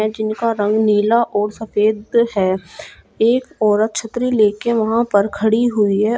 जीनका रंग नीला और सफेद है एक औरत छतरी लेकर वहां पर खड़ी हुई है।